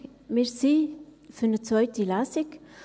Wir sind für eine zweite Lesung.